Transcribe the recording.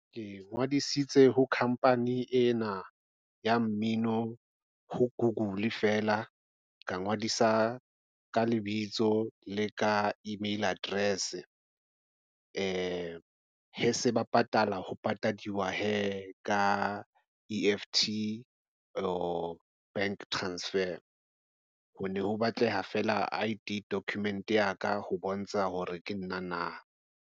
Ke ngodisitse ho khampani ena ya mmino ho Google feela ka ngodisa ka lebitso le ka email address se ba patala ho patadiwa hee, ka E_F_T bank transfer. Ho ne ho batleha feela I_D document ya ka ho bontsha hore ke nna na.